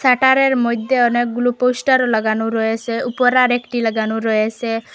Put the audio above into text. শাটারের মইধ্যে অনেকগুলো পোস্টার লাগানো রয়েসে উপরে আর একটি লাগানো রয়েসে।